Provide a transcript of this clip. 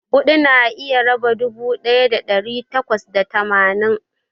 huɗu na iya raba dubu ɗaya da ɗari takwas da tamanin.